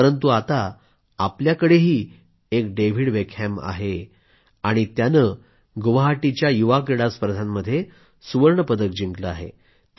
परंतु आता आपल्याकडेही एक डेव्हिड बेकहॅम आहे आणि त्यानं गुवाहाटीच्या युवा क्रीडा स्पर्धांमध्ये सुवर्ण पदक जिंकलं आहे